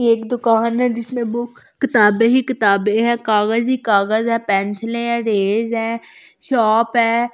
एक दुकान है जिसमें बुक किताबें ही किताबें है कागज ही कागज है पेंसिलें है रेज है शॉप है।